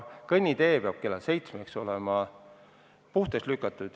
Kõnnitee peab kella 7-ks olema lumest puhtaks lükatud.